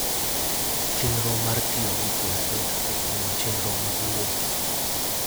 Chenro mar tiyo gi kompyuta e timo chenro mag wuoth.